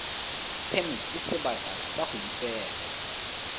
phemiti sebaka sa go ipega